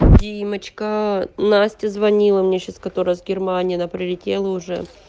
димочка настя звонила мне сейчас которая с германии на прилетела уже